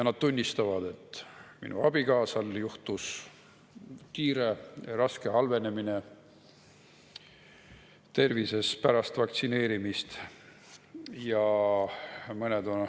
Nad tunnistavad, et nende abikaasal halvenes tervis kiiresti ja raskesti pärast vaktsineerimist.